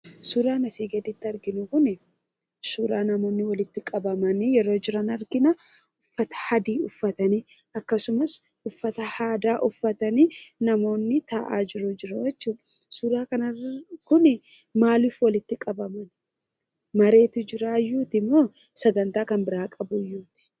Suuraan asii gaditti arginu kuni suuraa namoonni walitti qabamanii yeroo jiran argina. Uffata adii uffatanii akkasumas uffata aadaa uffatanii namoonni taa'aa jiran jiru jechuudha. Suuraa kana kuni maaliif walitti qabamani? Mareetu jiraayyuutimoo sagantaa biraa qabuuyyuuti?